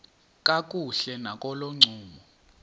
kakuhle nakolo ncumo